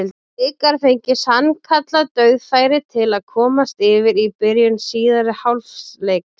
Blikar fengu sannkallað dauðafæri til að komast yfir í byrjun síðari hálfleiks.